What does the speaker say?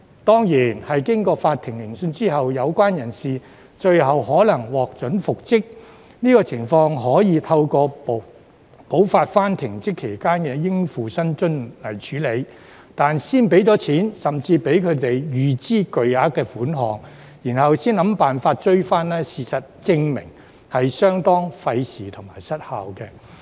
當然，經過法庭聆訊後，有關人士最後可能獲准復職，但這種情況可以透過補發停職期間的應付薪津處理，但先付錢，甚至讓他們預支巨額款項，然後才想辦法追討，事實證明是相當費時和失效的。